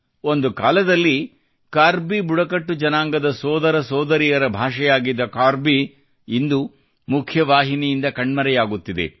ಒಂದು ಕಾಲದಲ್ಲಿ ಕಾರ್ಬಿ ಬುಡಕಟ್ಟು ಜನಾಂಗದ ಸೋದರ ಸೋದರಿಯರ ಭಾಷೆಯಾಗಿದ್ದ ಕಾರ್ಬಿ ಇಂದು ಮುಖ್ಯವಾಹಿನಿಯಿಂದ ಕಣ್ಮರೆಯಾಗುತ್ತಿದೆ